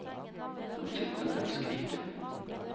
Den fikk dem til å skrike.